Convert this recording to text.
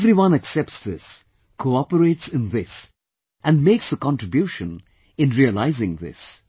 Everyone accepts this, cooperates in this and makes a contribution in realizing this